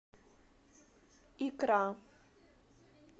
икра